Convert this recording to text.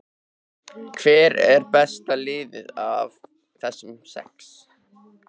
Hvert er besta liðið af þessum sex?